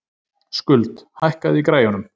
Skuld, hækkaðu í græjunum.